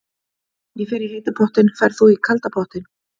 Ég fer í heita pottinn. Ferð þú í kalda pottinn?